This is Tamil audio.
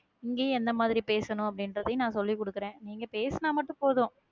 இங்கேயும் என்ன மாதிரி பேசணும் அப்படின்றதையும் நான் சொல்லிக் கொடுக்கிறேன் நீங்க பேசுனா மட்டும் போதும்